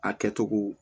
A kɛcogo